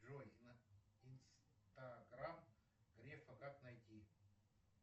джой инстаграм грефа как найти